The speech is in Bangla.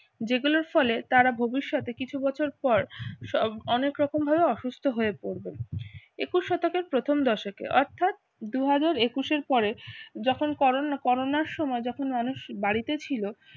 যেগুলোর ফলে তারা ভবিষ্যতে কিছু বছর পর সব অনেক রকম ভাবে অসুস্থ হয়ে পড়বে। একুশ শতকের প্রথম দশকে অর্থাৎ দু হাজার একুশ এর পরে যখন করোনা করোনার সময় যখন মানুষ বাড়িতে ছিল